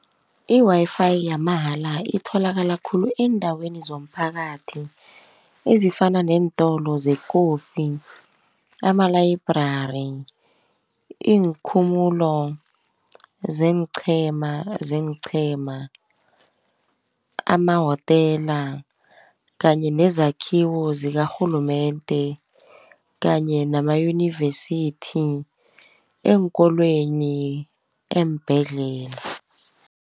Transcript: I-Wi-Fi yamahala itholakala khulu eendaweni zomphakathi, ezifana neentolo zekofi, amalayibhrari, iinkhumulo zeenqhema, amahotela kanye nezakhiwo zikarhulumende kanye namayunivesithi eenkolweni eembhedlela.